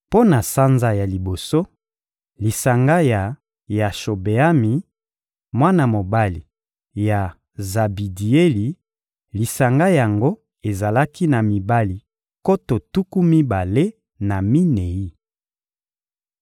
Mpo na sanza ya liboso: lisanga ya Yashobeami, mwana mobali ya Zabidieli; lisanga yango ezalaki na mibali nkoto tuku mibale na minei.